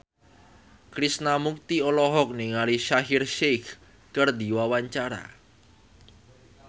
Krishna Mukti olohok ningali Shaheer Sheikh keur diwawancara